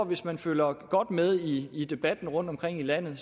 hvis man følger godt med i i debatten rundtomkring i landet